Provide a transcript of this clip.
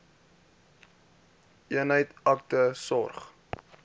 eenheid akute sorg